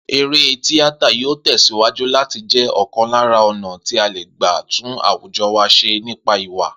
Eré tíátà yóò tè̩síwájú láti jé̩ ò̩kan lára ò̩nà tí a lè gbà tún àwùjo̩ wa s̩e nípa ìwà